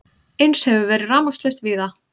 Eins hefur verið rafmagnslaust víða